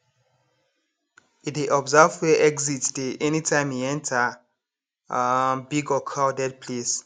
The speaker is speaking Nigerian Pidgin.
e dey observe where exit dey anytime e enter um big or crowded place